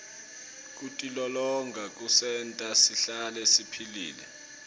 kutilolonga kusenta sihlale siphilile